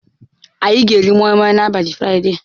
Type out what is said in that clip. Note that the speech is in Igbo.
Anyị ga-eri Moimoi n'abalị Fraịde.